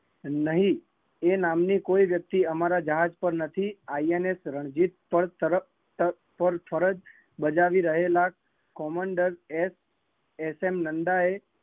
નહીં, એ નામ ની કોઈ વ્યકતિ અમારા જહાજ માં નથી, આઇએસએન રણજિત પર ફરજ બજાવી રહેલા કમાન્ડર એસએન નંદા એ